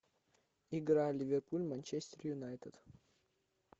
игра ливерпуль манчестер юнайтед